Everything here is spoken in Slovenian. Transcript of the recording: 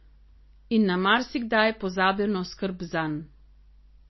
In na marsikdaj pozabljeno skrb zanj.